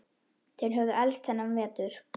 Þeir höfðu elst þennan vetur.